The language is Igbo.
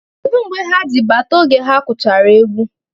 Kedu mgbe ha ji bata oge ha gwuchara egwu?